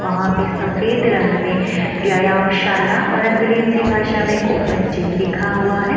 वहां पे सफेद रंग में व्यायामशाला और अंग्रेजी भाषा में ओपन जिम लिखा हुआ है।